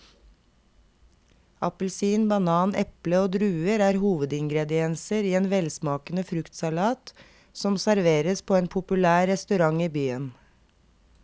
Appelsin, banan, eple og druer er hovedingredienser i en velsmakende fruktsalat som serveres på en populær restaurant i byen.